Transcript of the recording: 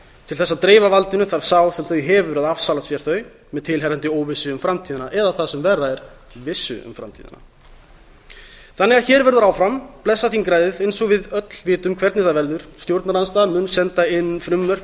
til þess að dreifa valdinu þarf sá sem þau hefur að afsala sér þeim með tilheyrandi óvissu um framtíðina eða það sem verra er vissu um framtíðina hér verður því áfram blessað þingræðið eins og við öll vitum hvernig það verður stjórnarandstaðan mun senda inn frumvörp